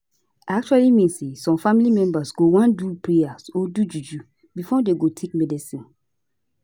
i actually mean say some family members go wan do prayer or do juju before dem go take medicine